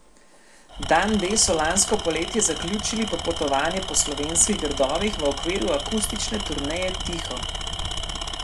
Dan D so lansko poletje zaključili popotovanje po slovenskih gradovih v okviru akustične turneje Tiho.